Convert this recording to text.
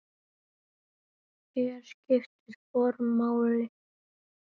Hér skiptir form máli.